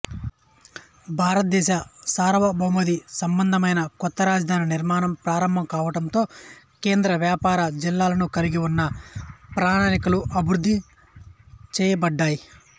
భారతదేశ సార్యభౌమసంబంధమైన కొత్త రాజధాని నిర్మాణం ప్రారంభం కావడంతో కేంద్ర వ్యాపార జిల్లాలను కలిగి ఉన్న ప్రణాళికలు అభివృద్ధి చేయబడ్డాయి